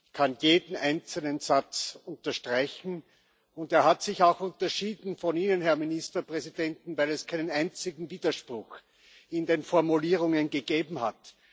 Ich kann jeden einzelnen Satz unterstreichen, und er hat sich auch unterschieden von Ihnen, Herr Ministerpräsident, weil es keinen einzigen Widerspruch in den Formulierungen gegeben hat.